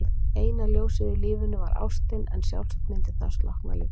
Eina ljósið í lífinu var ástin, en sjálfsagt myndi það slokkna líka.